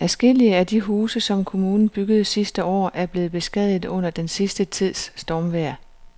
Adskillige af de huse, som kommunen byggede sidste år, er blevet beskadiget under den sidste tids stormvejr.